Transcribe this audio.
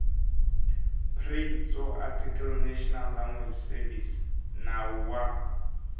pri tsoarticlenational language servicesnawu wa